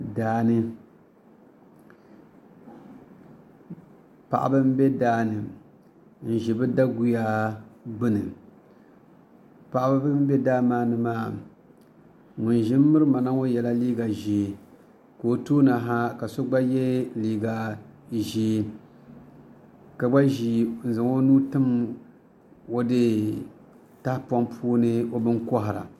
Paɣaba n bɛ daani n ʒi bi daguya gbuni ŋun ʒi n mirimana ŋo yɛla liiga ʒiɛ ka o tooni ha ka so gba yɛ liiga ʒiɛ ka gba ʒi n zaŋ o nuu tim tahapoŋ puuni o bini kohara